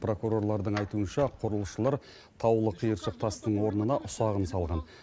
прокурорладың айтуынша құрылысшылар таулы қиыршық тастың орнына ұсағын салған